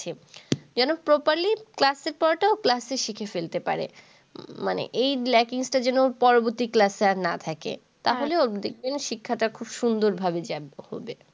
যেন properly class এর পড়াটা ও class এ শিখে ফেলতে পারে। মানে এই lacking টা যেন ওর পরবর্তী classs আর না থাকে। তাহলে ওর দেখবেন শিক্ষাটা খুব সুন্দরভাবে যাগ্য হবে